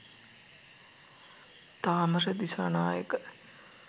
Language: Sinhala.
thamara disanayake